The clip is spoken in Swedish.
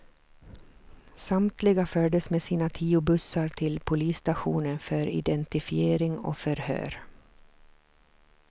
Samtliga fördes med sina tio bussar till polisstationen för identifiering och förhör.